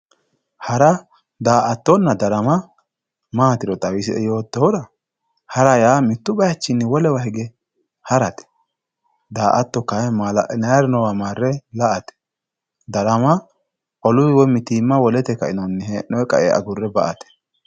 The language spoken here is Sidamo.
Hara daatona darama matiro xawisie yootohura hara ya mittu bayichini wolewa hige harate daato kayinni malaalinayari nowa mare laate darama oluyi woy mitimate agure baate